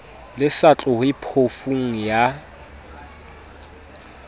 le sa tlohe phofung ya